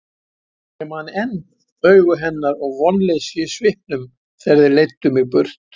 Ég man enn augu hennar og vonleysið í svipnum þegar þeir leiddu mig burt.